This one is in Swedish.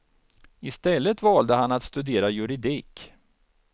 I stället valde han att studera juridik.